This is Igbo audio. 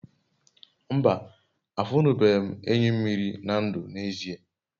mba, afunube m enyi mmiri na ndu n'ezie